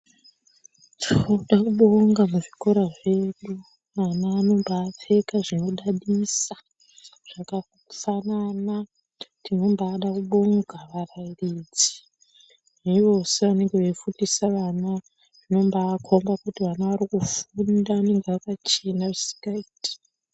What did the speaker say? Tinoda kubonga muzvikora zvedu, vana vanombaapfeke zvinodadisa zvakafanana. Tinombaada kubonga varairidzi nevose vanenge veifundisa vana zvinombaakhomba kuti vana vari kufunda. Vanenga zvakachena zvisingaiti.